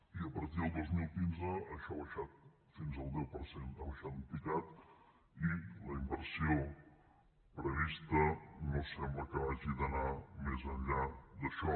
i a partir del dos mil quinze això ha baixat fins al deu per cent ha baixat en picat i la inversió prevista no sembla que hagi d’anar més enllà d’això